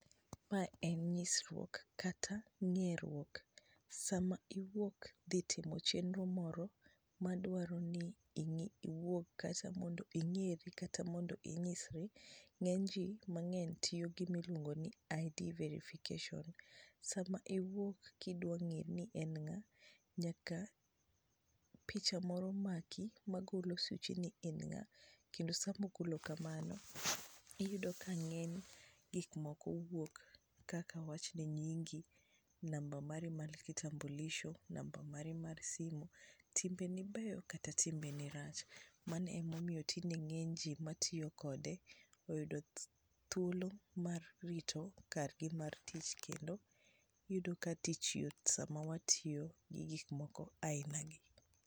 Mae en nyisruok kata ng'eruok, sama iwuok dhi timo chenro moro madwaro ni iwuog kata mondo ing'eri kata mondo inyisri, ng'eny ji mang'eny tiyo gi gimiluongo ni ID verification. Sama iwuok kidwa ng'eyo ni en ng'a, nyaka picha moro maki magolo suchi ni in ng'a, kendo sama ogolo kama, iyudo ka ng'eny gikmoko wuok kaka wawachni nyingi, namba mari mar kitambulisho, namba mari mar simu. Timbeni beyo kata timbeni rach, mano emomiyo tinde ng'eny ji matiyo kode oyudo thuolo mar rito kargi mar tich kendo iyudo ka tich yot sama watiyo gi gikmoko aina gi.